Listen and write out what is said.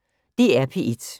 DR P1